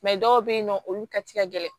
dɔw bɛ yen nɔ olu ka ca ka gɛlɛn